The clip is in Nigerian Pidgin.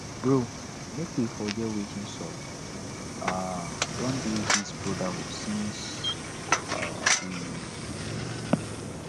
bro make we forget wetin sup we um don dey this brotherhood since we um dey small